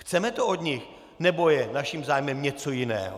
Chceme to od nich, nebo je naším zájmem něco jiného?